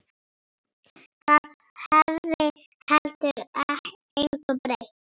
Það hefði heldur engu breytt.